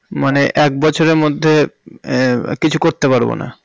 মানে এক বছরের মধ্যে আহ কিছু করতে পারবো না